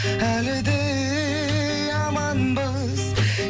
әлі де аманбыз